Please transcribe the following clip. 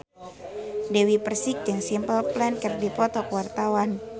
Dewi Persik jeung Simple Plan keur dipoto ku wartawan